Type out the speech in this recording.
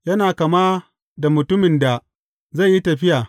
Yana kama da mutumin da zai yi tafiya.